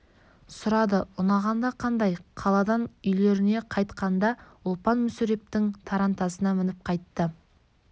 сұрады ұнағанда қандай қаладан үйлеріне қайтқанда ұлпан мүсірептің тарантасына мініп қайтты